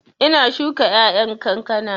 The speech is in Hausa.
Ina shuka ƴaƴan kankana